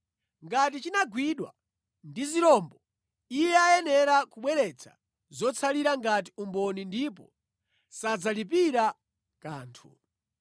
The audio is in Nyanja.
Ngati chinagwidwa ndi zirombo, iye ayenera kubweretsa zotsalira ngati umboni ndipo sadzalipira kanthu.